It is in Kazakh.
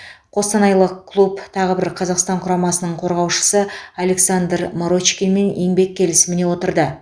қостанайлық клуб тағы бір қазақстан құрамасының қорғаушысы александр марочкинмен еңбек келісіміне отырды